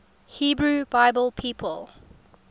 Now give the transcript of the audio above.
hebrew bible people